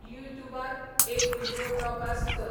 युट्यूबबार एक video broadcast कर